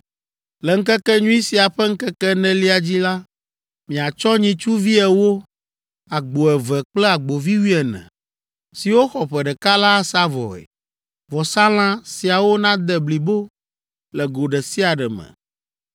“Le Ŋkekenyui sia ƒe ŋkeke enelia dzi la, miatsɔ nyitsuvi ewo, agbo eve kple agbovi wuiene, siwo xɔ ƒe ɖeka la asa vɔe. Vɔsalã siawo nade blibo le go ɖe sia ɖe me.